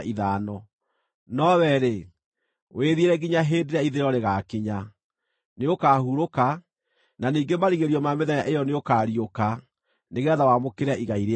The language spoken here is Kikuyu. “No wee-rĩ, wĩthiĩre nginya hĩndĩ ĩrĩa ithirĩro rĩgaakinya. Nĩũkahurũka, na ningĩ marigĩrĩrio ma mĩthenya ĩyo nĩũkariũka nĩgeetha wamũkĩre igai rĩaku.”